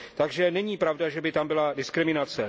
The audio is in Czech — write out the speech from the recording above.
Takže není pravda, že by tam byla diskriminace.